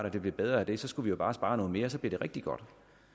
og det blev bedre af det så skulle vi jo bare spare noget mere for så blev det rigtig godt